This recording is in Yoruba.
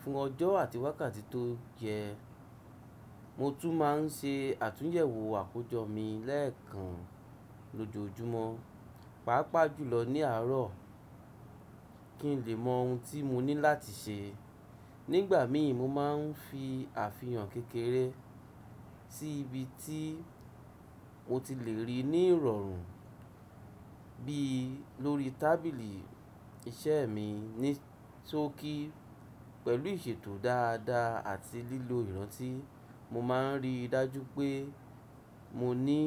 fún ọjọ́ àti wákàtí tó yẹ. Mo tún máa ń ṣe àtúnyẹ̀wò àkójọ mi lẹ́ẹ̀kan lójoojúmọ́, pàápàá jùlọ ní àárọ̀, kí n lè mọ ohun tí mo ní láti ṣe. Nígbà mìíràn, mo máa ń fi àfihàn kékeré sí ibi tí mo ti lè rí i ní ìrọ̀rùn, bí lórí tábìlì iṣẹ́ mi ní tó kí. Pẹ̀lú ìṣètò dáadáa àti lílo ìrántí, mo máa ń rí i dájú pé mo ní.